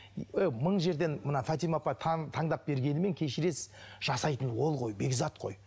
ыыы мың жерден мына фатима апай таңдап бергенімен кешіресіз жасайтын ол ғой бекзат қой